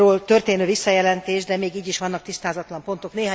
történő visszajelentés, de még így is vannak tisztázatlan pontok.